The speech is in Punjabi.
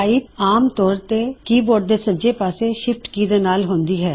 ਪਾਇਪ ਕੀ ਆਮ ਚਔਰ ਚੇ ਕੀਬੋਰ੍ਡ ਦੇ ਸੱਜੇ ਪਾੱਸੇ ਸ਼ਿਫਟ ਕੀ ਦੇ ਨਾਲ ਹੁੰਦੀ ਹੈ